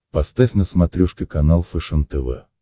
поставь на смотрешке канал фэшен тв